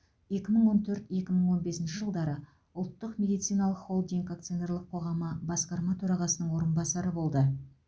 екі мың он төрт екі мың он бесінші жылдары ұлттық медициналық холдинг акционерлік қоғамы басқарма төрағасының орынбасары болды